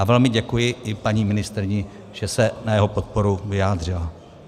A velmi děkuji i paní ministryni, že se na jeho podporu vyjádřila.